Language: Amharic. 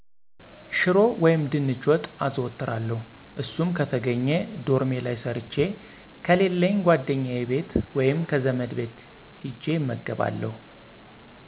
ሽሮ ወይም ድንች ወጥ አዘወትራለሁ እሱም ከተገኜ ዶርሜ ላይ ሠርቸ ከሌለኝ ጓደኛየ ቤት ወይም ከዘመድ ቤት ሂጀ እመገባለሁ።